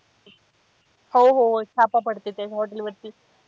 हो हो छापा पडते त्या hotel वरती.